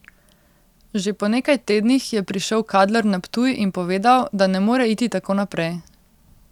Že po nekaj tednih je prišel Kadler na Ptuj in povedal, da ne more iti tako naprej.